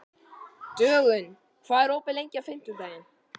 Dögun, hvað er opið lengi á fimmtudaginn?